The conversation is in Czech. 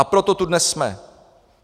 A proto tu dnes jsme.